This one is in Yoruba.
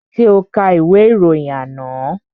Ṣé o ka ìwé ìròyìn àná?